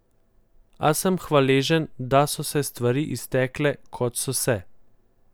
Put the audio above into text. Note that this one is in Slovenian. A sem hvaležen, da so se stvari iztekle, kot so se.